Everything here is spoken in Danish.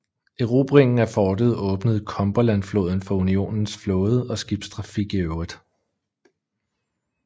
Erobringen af fortet åbnede Cumberlandfloden for Unionens flåde og skibstrafik i øvrigt